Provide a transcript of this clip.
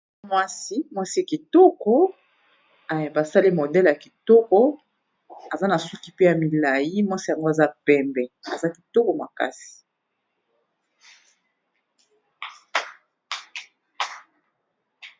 Mwasi, mwasi kitoko ba sali modele ya kitoko, aza na suki pe ya milayi, mwasi yango aza pembe, aza kitoko makasi .